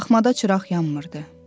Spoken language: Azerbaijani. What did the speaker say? Taxmada çıraq yanmırdı.